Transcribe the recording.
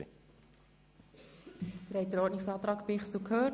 Sie haben den Ordnungsantrag Bichsel gehört.